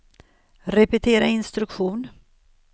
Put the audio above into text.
repetera instruktion